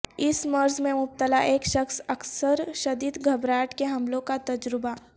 اس مرض میں مبتلا ایک شخص اکثر شدید گھبراہٹ کے حملوں کا تجربہ